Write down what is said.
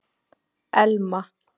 Elma